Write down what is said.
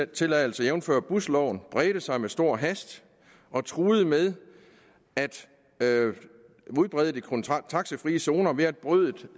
tilladelser jævnfør busloven bredte sig med stor hast og truede med at udbrede de taxifrie zoner ved at brødet